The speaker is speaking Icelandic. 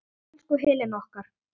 Elsku Helena okkar.